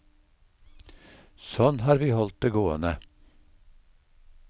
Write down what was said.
Sånn har vi holdt det gående.